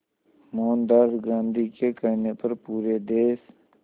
मोहनदास गांधी के कहने पर पूरे देश